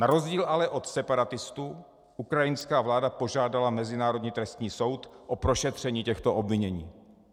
Na rozdíl ale od separatistů ukrajinská vláda požádala Mezinárodní trestní soud o prošetření těchto obvinění.